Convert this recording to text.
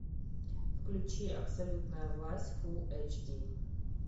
включи абсолютная власть фул эйч ди